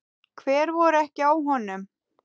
Hver voru ekki á honum?